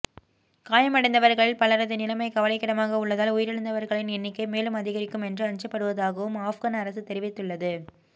காயமடைந்தவர்களில் பலரது நிலைமை கவலைக்கிடமாக உள்ளதால் உயிரிழந்தவர்களின் எண்ணிக்கை மேலும் அதிகரிக்கும் என்று அஞ்சப்படுவதாகவும் ஆஃப்கன் அரசு தெரிவித்துள்ளது